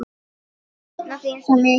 Ég sakna þín svo mikið.